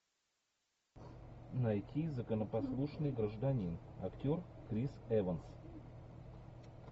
найти законопослушный гражданин актер крис эванс